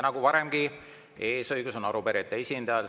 Nagu varemgi, eesõigus on arupärijate esindajal.